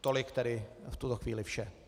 Tolik tedy v tuto chvíli vše.